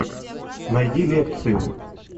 найди лекцию